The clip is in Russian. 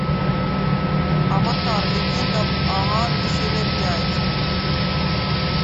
аватар легенда об аанге серия пять